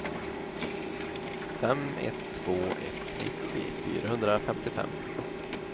fem ett två ett nittio fyrahundrafemtiofem